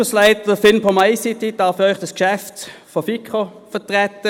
Als Leiter des Ausschusses FIN-POM-ICT darf ich das Geschäft für die FiKo vertreten.